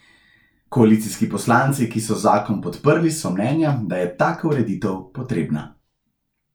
Koalicijski poslanci, ki so zakon podprli so mnenja, da je taka ureditev potrebna.